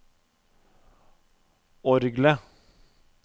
orgelet